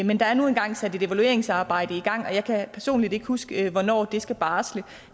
men der er nu engang sat et evalueringsarbejde i gang og jeg kan personligt ikke huske hvornår det skal barsle